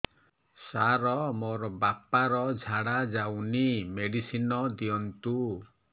ସାର ମୋର ବାପା ର ଝାଡା ଯାଉନି ମେଡିସିନ ଦିଅନ୍ତୁ